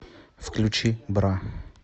включи бра